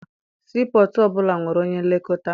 Sii pọtụ ọbụla nwere onye nlekọta.